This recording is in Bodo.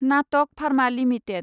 नाटक फार्मा लिमिटेड